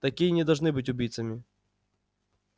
такие не должны быть убийцами